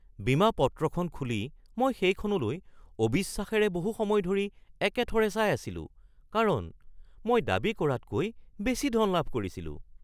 বীমা পত্ৰখন খুলি মই সেইখনলৈ অবিশ্বাসেৰে বহু সময় ধৰি একেথৰে চাই আছিলোঁ কাৰণ মই দাবী কৰাতকৈ বেছি ধন লাভ কৰিছিলোঁ।